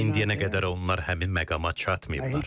Və indiyənə qədər onlar həmin məqama çatmayıblar.